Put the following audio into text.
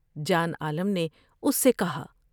جان عالم نے اس سے کہا ۔